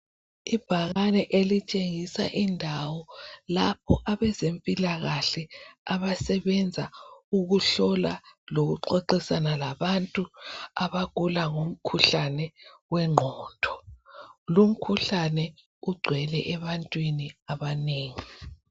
Ibhakane litshengisa indawo lapho abezempilakahle abasebenza ukuhlola lokuxoxisana labantu abagula ngomkhuhlane wengqondo lo umkhuhlane ugcwele ebantwini abanengi